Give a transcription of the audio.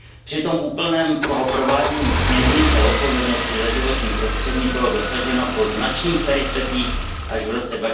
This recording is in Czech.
Přitom úplného provádění směrnice o odpovědnosti za životní prostředí bylo dosaženo, po značných peripetiích, až v roce